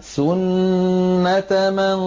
سُنَّةَ مَن